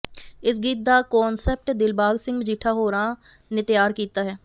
ਇਸ ਗੀਤ ਦਾ ਕੋਨਸੈਪਟ ਦਿਲਬਾਗ ਸਿੰਘ ਮਜੀਠਾ ਹੋਰਾਂ ਨੇ ਤਿਆਰ ਕੀਤਾ ਹੈ